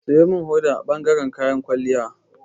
Siyo min hoda a bangaren kayan kwalliya.